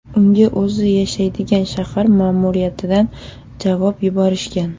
Unga o‘zi yashaydigan shahar ma’muriyatidan javob yuborishgan.